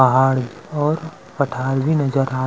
पहाड़ और पठार भी नज़र आत--